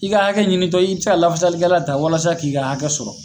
I ka hakɛ ɲinintɔ i bɛ se ka lafasalikɛla ta walasa k'i ka hakɛ sɔrɔ.